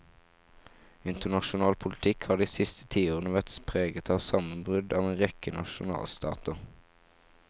Internasjonal politikk har de siste ti årene vært preget av sammenbrudd av en rekke nasjonalstater.